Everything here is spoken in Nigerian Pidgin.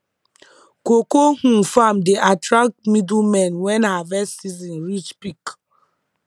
cocoa um farm dey attract middlemen when harvest season reach peak